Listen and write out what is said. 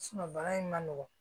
baara in ma nɔgɔn